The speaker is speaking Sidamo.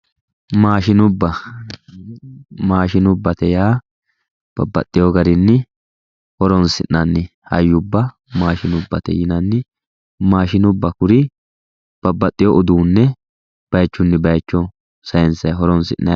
maashinubba maashinubbate yaa babbaxewo garinni horonsi'nanni hayyubba maashinubbate yinanni maashinubba kuri babbaxewo uduune bayiichunni bayiicho saayiinsayi horonsinayiite